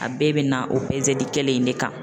A bɛɛ bɛ na o peseli kelen in de kan.